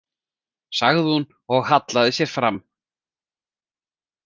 , sagði hún og hallaði sér fram.